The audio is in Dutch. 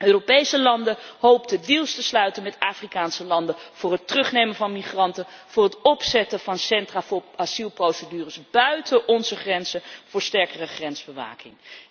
Europese landen hoopten deals te sluiten met Afrikaanse landen voor het terugnemen van migranten, voor het opzetten van centra voor asielprocedures buiten onze grenzen, voor sterkere grensbewaking.